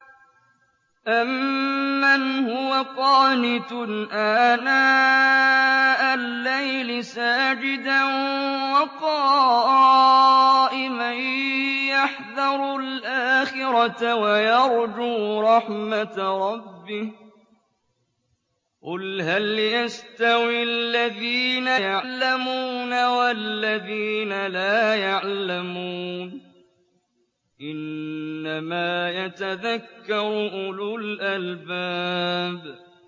أَمَّنْ هُوَ قَانِتٌ آنَاءَ اللَّيْلِ سَاجِدًا وَقَائِمًا يَحْذَرُ الْآخِرَةَ وَيَرْجُو رَحْمَةَ رَبِّهِ ۗ قُلْ هَلْ يَسْتَوِي الَّذِينَ يَعْلَمُونَ وَالَّذِينَ لَا يَعْلَمُونَ ۗ إِنَّمَا يَتَذَكَّرُ أُولُو الْأَلْبَابِ